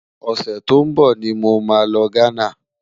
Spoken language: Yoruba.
ọsẹ tó n bó ní mọ má ló ghánà